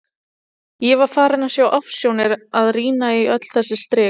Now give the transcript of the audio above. Ég var farin að sjá ofsjónir af að rýna í öll þessi strik.